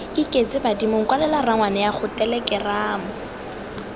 iketse badimong kwalela rangwaneago telekeramo